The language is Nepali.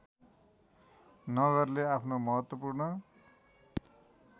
नगरले आफ्नो महत्त्वपूर्ण